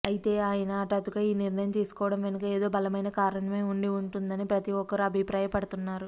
అయితే ఆయన హఠాత్తుగా ఈ నిర్ణయం తీసుకోవడం వెనుక ఏదో బలమైన కారణమే ఉండి ఉంటుందని ప్రతిఒక్కరూ అభిప్రాయపడుతున్నారు